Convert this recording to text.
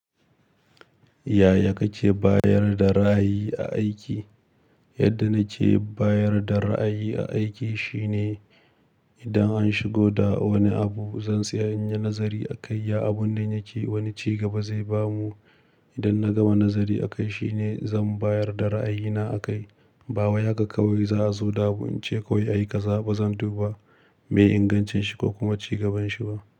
Yaya kake bayar da ra'ayi a aiki? Yadda na ce bayar da ra'ayi a aiki shine idan an shigo da wani abu, zan tsaya in yi nazari a kai, ya abun nan yake, wani ci gaba zai ba mu. Idan na gama nazari a kai, shine zan bayar da ra'ayina a kai. Bawai haka kawai za a zo da abu, in ce ko ya yi ƙaza, ba zan duba me ingancin shi ko kuma ci gabanshi ba.